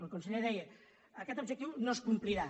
el conseller deia aquest objectiu no es complirà